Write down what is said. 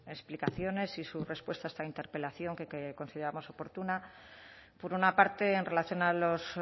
explicaciones y su respuesta a esta interpelación que consideramos oportuna por una parte en relación a los